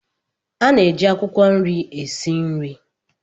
A na-eji akwukwo nri esi nri.